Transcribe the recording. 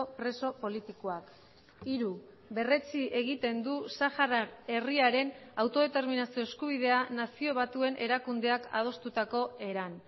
preso politikoak hiru berretsi egiten du sahara herriaren autodeterminazio eskubidea nazio batuen erakundeak adostutako eran